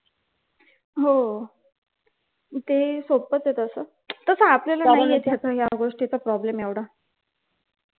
हो तेही सोप्पंच आहे तस आपल्याला नाही येत या गोष्टीचा problem एवढा